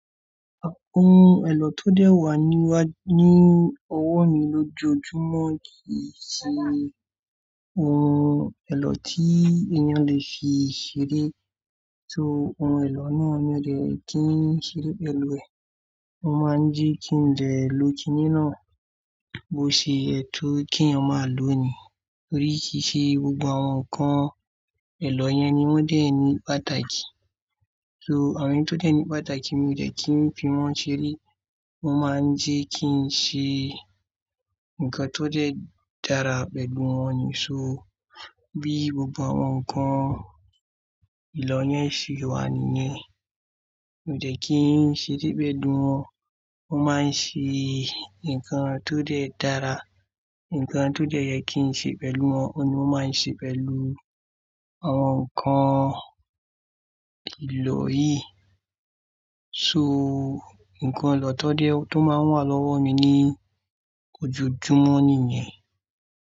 Àwọn ohun èlò tó dẹ́ẹ̀ wà ní wá ní ọwọ́ mi lójoojúmọ́ kì í ṣe ohun èlò tí èèyàn lè fi ṣeré. So ohun èlò náà mi ò dẹ̀ kí n ṣeré pẹ̀lú ẹ̀. Mọ́ máa ń jẹ́ kí n dè lo kiní náà bó ṣe yẹ tó kí eeyan màa lọ́ ni. Nítorí kì í ṣe gbogbo àwọn nǹkan èlò yẹn ni wọ́n dẹ̀ ní pàtàkì. So àwọn tó dẹ̀ ní pàtàkì mi ò dẹ̀ kí n fi wọ́n ṣeré. Wọ́n máa ń jẹ́ kí n ṣe nǹkan tó dẹ́ẹ̀ dára pẹ̀lú wọn ni. So bí gbogbo àwọn nǹkan ìlò yẹn ṣe wà nìyẹn, mi ò dẹ̀ kí n ṣeré pẹ̀lú wọn. Wọ́n máa ń ṣe nǹkan tó dẹ́ẹ̀ dára, nǹkan tó dẹ́ẹ̀ yẹ kí n ṣe pẹ̀lú wọn, ọ̀un ni mo máa ń ṣe pẹ̀lú àwọn nǹkan ìlò yìí. So nǹkan èlò tó dẹ́ẹ̀ tó máa wà lọ́wọ́ mi ní ojoojúmọ́ nìyẹn.